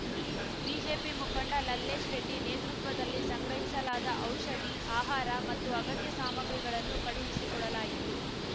BJP ಮುಖಂಡ ಲಲ್ಲೇಶ್‌ ರೆಡ್ಡಿ ನೇತೃತ್ವದಲ್ಲಿ ಸಂಗ್ರಹಿಸಲಾದ ಔಷಧಿ ಆಹಾರ ಮತ್ತು ಅಗತ್ಯ ಸಾಮಗ್ರಿಗಳನ್ನು ಕಳುಹಿಸಿಕೊಡಲಾಯಿತು